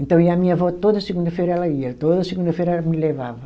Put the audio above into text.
Então ia a minha avó toda segunda-feira ela ia, toda segunda-feira ela me levava.